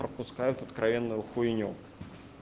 пропускают откровенную хуйню